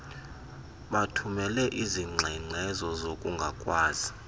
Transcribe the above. bathumele izingxengxezo zokungakwazi